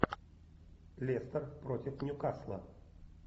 лестер против ньюкасла